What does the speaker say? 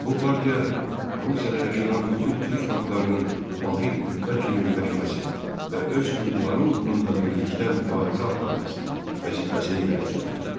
Bu partiya Rusiyada yaşanan bütün türk xalqlarının vahid qüvvə kimi birləşməsi və öz hüquqları uğrunda birlikdə mübarizə aparması vəzifəsini irəli sürürdü.